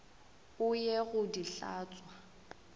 o ye go di hlatswa